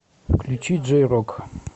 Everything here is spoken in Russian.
включи джей рок